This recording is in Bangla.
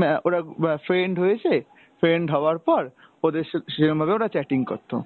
ম্যা ওরা অ্যাঁ friend হয়েছে, friend হওয়ার পর ওদের সে~ সেরকমভাবে ওরা chatting করতো।